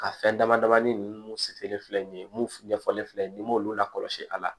Ka fɛn dama dama ni nunnu sitani filɛ nin ye mun ɲɛfɔlen filɛ nin ye ni m'olu lakɔlɔsi a la